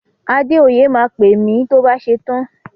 Adéoyè máa pè mi tó bá ṣetán.